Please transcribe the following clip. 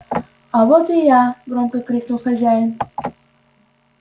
а вот и я громко крикнул хозяин